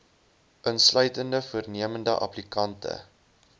insluitende voornemende applikante